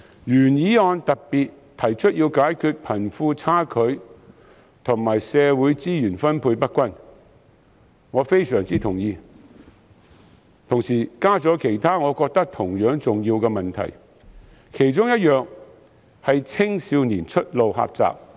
原議案特別提出要解決貧富差距和社會資源分配不均等問題，我對此非常同意，並同時加入其他我認為同樣重要的問題，青少年出路狹窄是其中之一。